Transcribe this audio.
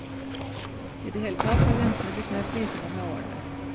I det hele tatt har grensene blitt mer flytende med årene.